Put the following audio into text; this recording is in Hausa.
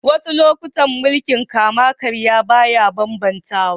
Wassu lokatai mulki'n kama-karya baya ban-bantawa.